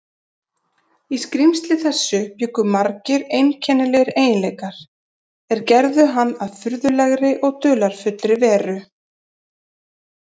Í skrímsli þessu bjuggu margir einkennilegir eiginleikar, er gerðu hann að furðulegri og dularfullri veru.